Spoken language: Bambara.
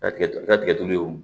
Datigɛ datigɛ o